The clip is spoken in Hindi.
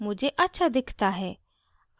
मुझे अच्छा दिखता है